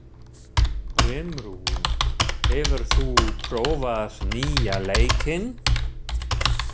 Brimrún, hefur þú prófað nýja leikinn?